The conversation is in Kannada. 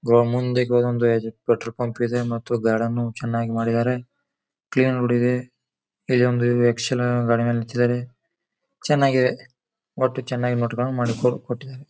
ಗೋ ಮುಂದೆ ಗೋ ಪೆಟ್ರೋಲ್ ಪಂಪ್ ಇದೆ ಮತ್ತು ಗಾರ್ಡನ್ ಅನ್ನು ಚೆನ್ನಾಗ್ ಮಾಡಿದ್ದಾರೆ ಕ್ಲೀನ್ ರೋಡ್ ಇದೆ ಇಲ್ಲಿ ಒಂದು ಎಕ್ಸೆಲ್ ಗಾಡಿನೂ ನಿಂತಿದ್ದಾರೆ ಚೆನ್ನಾಗಿದೆ ಒಟ್ಟು ಚೆನ್ನಾಗ್ ನೋಡ್ಕೊಂಡ್ ಕೊಟ್ಟಿದಾನೆ.